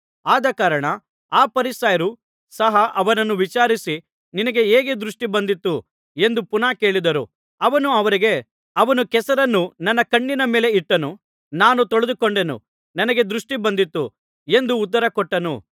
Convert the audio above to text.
ಆದಕಾರಣ ಆ ಫರಿಸಾಯರು ಸಹ ಅವನನ್ನು ವಿಚಾರಿಸಿ ನಿನಗೆ ಹೇಗೆ ದೃಷ್ಟಿ ಬಂದಿತು ಎಂದು ಪುನಃ ಕೇಳಿದರು ಅವನು ಅವರಿಗೆ ಅವನು ಕೆಸರನ್ನು ನನ್ನ ಕಣ್ಣಿನ ಮೇಲೆ ಇಟ್ಟನು ನಾನು ತೊಳೆದುಕೊಂಡೆನು ನನಗೆ ದೃಷ್ಟಿ ಬಂದಿತು ಎಂದು ಉತ್ತರಕೊಟ್ಟನು